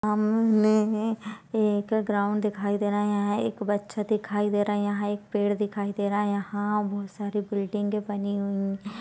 हमम ने अ एक ग्राउंड दिखाई दे रहा है यहाँ एक बच्चा दिखाई दे रहा है यहाँ एक पेड़ दिखाई दे रहा है यहाँ बहुत सारी बिल्डिंग बनी हुई--